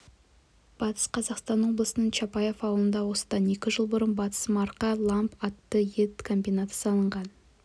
батыс қазақстан облысының чапаев ауылында осыдан екі жыл бұрын батыс марқа ламб атты ет комбинаты салынған